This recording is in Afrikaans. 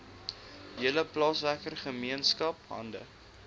hele plaaswerkergemeenskap hande